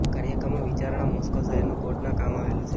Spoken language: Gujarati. કાર્યક્રમો વિચારણા મોસ્કો શહેરનું કોર્ટના કામ આવેલું છે